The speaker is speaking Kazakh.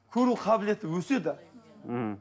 көру қабілеті өседі мхм